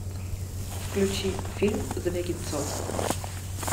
включи фильм звягинцева